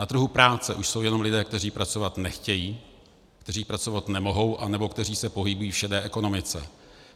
Na trhu práce už jsou jenom lidé, kteří pracovat nechtějí, kteří pracovat nemohou, anebo kteří se pohybují v šedé ekonomice.